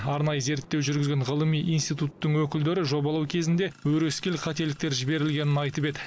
арнайы зерттеу жүргізген ғылыми институттың өкілдері жобалау кезінде өрескел қателіктер жіберілгенін айтып еді